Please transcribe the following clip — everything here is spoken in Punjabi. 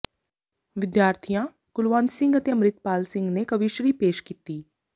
ਵਿਦਿਆਰਥੀਆਂ ਕੁਲਵੰਤ ਸਿੰਘ ਅਤੇ ਅੰਮ੍ਰਿਤਪਾਲ ਸਿੰਘ ਨੇ ਕਵੀਸ਼ਰੀ ਪੇਸ਼ ਕੀਤੀ